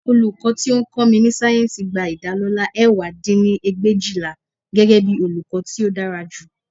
Olùkọ́ tí ó ń kọ́ mi ní sáyẹ́ǹsì gba ìdálọlá ẹ̀wá dín ní ẹgbẹ̀éjìlá, gẹ́gẹ́bí olùkọ́ tí ó dára jù